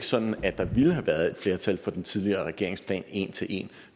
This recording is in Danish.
sådan at der ville have været flertal for den tidligere regerings plan en til en